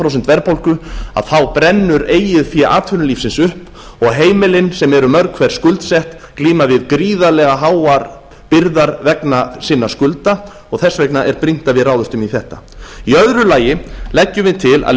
prósent verðbólgu að þá brennur eigið fé atvinnulífsins upp og heimilin sem eru mörg hver skuldsett glíma við gríðarlega háar byrðar vegna sinna skulda og þess vegna er brýnt að við ráðumst í þetta í öðru lagi leggjum við til að